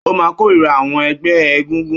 Ó máà kórira àwọn ẹgbẹ́ egúngún